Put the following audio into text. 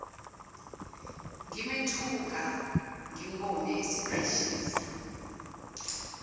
ngimethuka ngimbone esekhwishiza